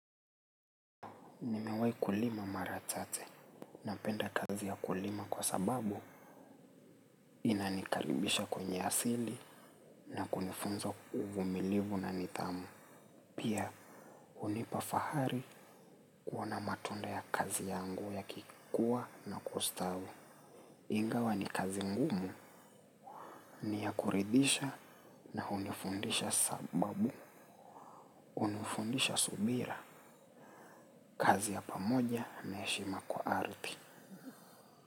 Nimewai kulima maratate na penda kazi ya kulima kwa sababu inanikaribisha kwenye asili na kunifunza uvumilivu na nidhamu. Pia unipafahari kuona matunda ya kazi yangu ya kikua na kustawi. Ingawa ni kazi ngumu ni ya kuridhisha na unifundisha sababu. Hunifundisha subira kazi ya pamoja na heshima kwa ardhi.